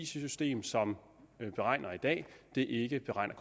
system som beregner i dag ikke beregner